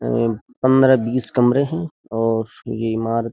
पंद्रह बीस कमरे हैं और ये इमारत --